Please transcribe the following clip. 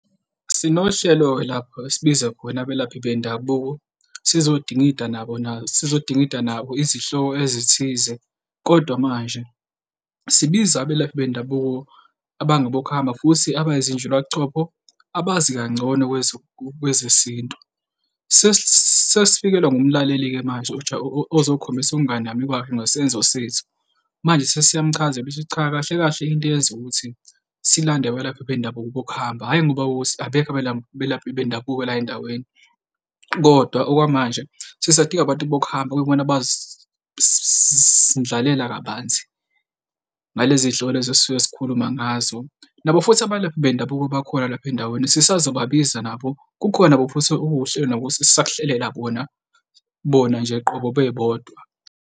Sinohlelo lapho esibiza khona abelaphi bendabuko sizodingida nabo, sizodingida nabo izihloko ezithize, kodwa manje sibiza abelaphi bendabuko abangabokuhamba futhi abayizinjuba buchopho, abazi kangcono kwezesintu. Sesifikelwa ngumlaleli-ke manje ozokhombisa ukunganami kwakhe ngesenzo sethu. Manje sesiyamchazela sithi cha, kahle kahle into eyenza ukuthi silande abelaphi bendabuko bokuhamba, hhayi, ngoba abekho abelaphi bendabuko la endaweni, kodwa okwamanje sisadinga abantu bokuhamba okuyibona abazosindlalela kabanzi ngalezi hloko lezi esisuke sikhuluma. Nabo futhi abelaphi bendabuko abakhona lapha endaweni sisazobabiza nabo. Kukhona nabo futhi okuwuhlelo nabo esisakuhlelela kona bona nje qobo bebodwa.